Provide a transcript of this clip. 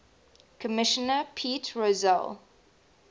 commissioner pete rozelle